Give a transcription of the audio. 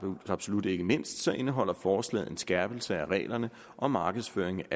absolut ikke mindst indeholder forslaget en skærpelse af reglerne om markedsføring